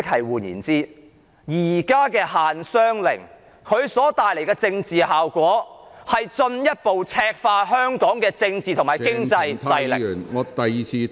換言之，現時的限商令所帶來的政治效果，是進一步赤化香港的政治和經濟勢力......